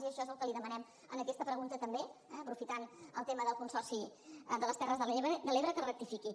i això és el que li demanem en aquesta pregunta també eh aprofitant el tema del consorci de les terres de l’ebre que rectifiqui